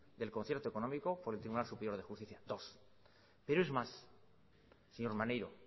del concierto económico por el tribunal superior de justicia dos pero es más señor maneiro